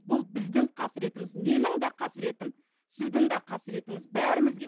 бұл біздің қасіретіміз менің де қасіретім сіздің де қасіретіңіз бәрімізге